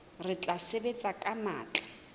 re tla sebetsa ka matla